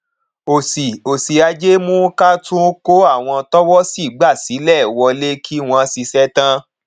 òṣì òṣì ajé mú ká tún kó àwọn tọwọsí gbà sílẹ wọlé kí wón ṣiṣẹ tán